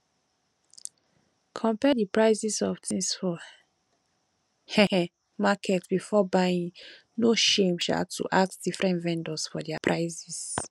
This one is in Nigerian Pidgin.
compare di prices of things for um market before buying no shame um to ask different vendors for their prices